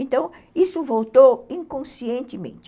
Então, isso voltou inconscientemente.